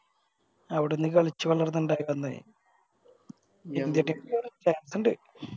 അവിടുന്ന് കളിച്ച് വളർന്ന് ഇണ്ടായി വന്നേയ് ഇണ്ട്